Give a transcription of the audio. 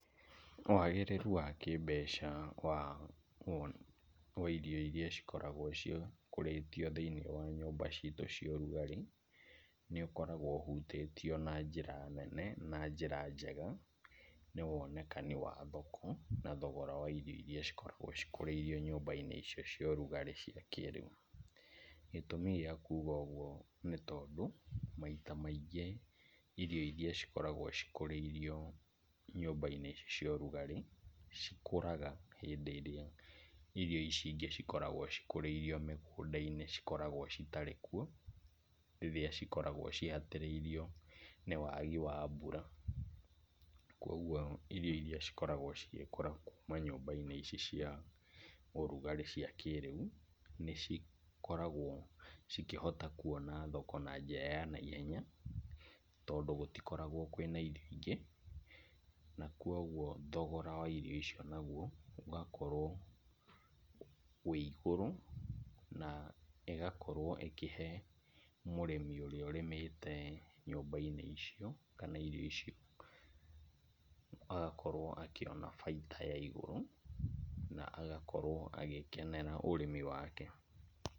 Wagĩrĩru wa kĩmbeca wa irio iria cikoragwo cikũrĩtio thĩinĩ wa nyũmba ciitũ ciarugarĩ, nĩũkoragwo ũhutĩtio na njĩra nene na njĩra njega , nĩ wonekani wa thoko, na thogora wa irio iria cikoragwo cikũrĩirwo thĩinĩ wa nyũmba-inĩ icio cia ũrugarĩ cia kĩĩrĩu. Gĩtũmi gĩa kuga ũguo nĩ tondũ, maita maingĩ irio iria cikoragwo cikũrĩirio nyũmba-inĩ icio cia ũrugarĩ, cikũraga hĩndĩ ĩrĩa irio ici ingĩ cikoragwo cikũrĩirio mĩgũnda-inĩ cikoragwo citarĩ kuo, nĩũrĩa cikoragwo cihatĩrĩirio nĩ wagi wa mbura. Koguo irio iria cikoragwo cigĩkũra kuuma nyũmba ici cia ũrugarĩ cia kĩrĩu, nĩ cikoragwo cikĩhota kwona thoko na njĩra ya naihenya, tondũ gũtikoragwo na irio ingĩ. Nakuoguo thogora wa irio icio naguo ũgakorwo wĩigũrũ, na ĩgakorwo ĩkĩhe mũrĩmi ũrĩa ũrĩmĩte nyũmba-inĩ icio kana irio icio, agakorwo akĩona bainda ya igũrũ, na agakorwo agĩkenera ũrĩmi wake.